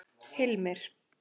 Hilmir